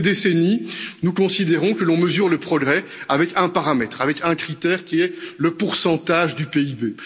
Depuis des décennies, nous considérons que l'on mesure le progrès avec un paramètre, avec un critère qui est le pourcentage du PIB.